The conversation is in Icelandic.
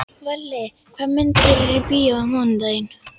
Valli, hvaða myndir eru í bíó á mánudaginn?